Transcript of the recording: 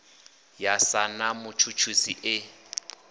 ya sa na mutshutshisi e